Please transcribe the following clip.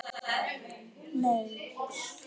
Gunnsi, hvað er að frétta?